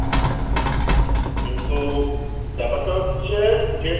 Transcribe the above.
কিন্তু ব্যাপারটা হচ্ছে যে,